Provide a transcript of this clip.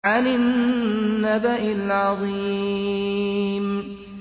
عَنِ النَّبَإِ الْعَظِيمِ